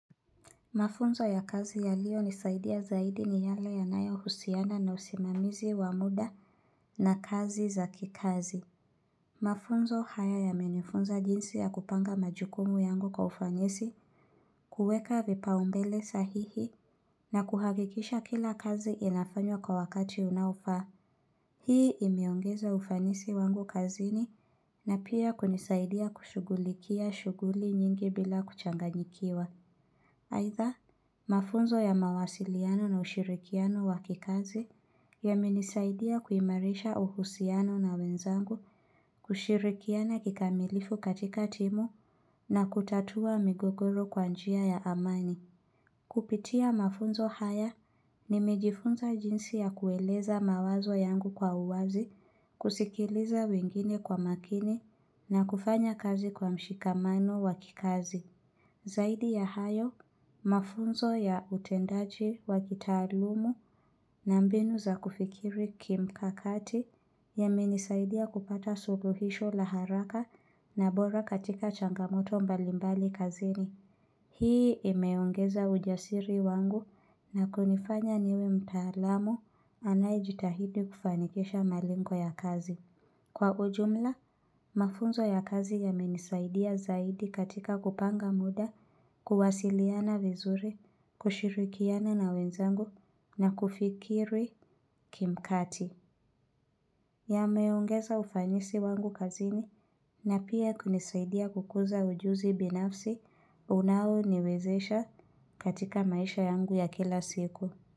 Mafunzo ya kazi ya liyo nisaidia zaidi ni yale ya nayo husiana na usimamizi wa muda na kazi za kikazi. Mafunzo haya yamenifunza jinsi ya kupanga majukumu yangu kwa ufanyesi, kuweka vipa umbele sahihi, na kuhakikisha kila kazi inafanywa kwa wakati unaofaa. Hii imeongeza ufanisi wangu kazini na pia kunisaidia kushugulikia shuguli nyingi bila kuchanganyikiwa. Aidha, mafunzo ya mawasiliano na ushirikiano wakikazi ya menisaidia kuimarisha uhusiano na wenzangu kushirikiana kikamilifu katika timu na kutatua migogoro kwanjia ya amani. Kupitia mafunzo haya ni mejifunza jinsi ya kueleza mawazo yangu kwa uwazi, kusikiliza wengine kwa makini na kufanya kazi kwa mshikamano wakikazi. Zaidi ya hayo, mafunzo ya utendaji wa kitaalumu na mbinu za kufikiri kimkakati ya menisaidia kupata suluhisho laharaka na bora katika changamoto mbalimbali kazini. Hii imeongeza ujasiri wangu na kunifanya niwe mtaalamu anayejitahidi kufanikisha malingwa ya kazi. Kwa ujumla, mafunzo ya kazi ya menisaidia zaidi katika kupanga muda, kuwasiliana vizuri, kushirikiana na wenzangu na kufikiri kimkati. Ya meongeza ufanyisi wangu kazini na pia kunisaidia kukuza ujuzi binafsi unao niwezesha katika maisha yangu ya kila siku.